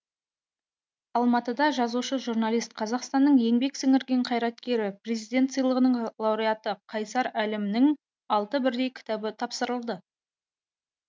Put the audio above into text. алматыда жазушы журналист қазақстанның еңбек сіңірген қайраткері президент сыйлығының лауреаты қайсар әлімнің алты бірдей кітабы таныстырылды